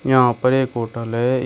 यहां पर एक होटल है। इ --